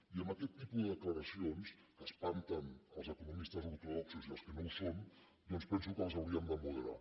i aquest tipus de declaracions que espanten els economistes ortodoxos i els que no ho són doncs penso que les hauríem de moderar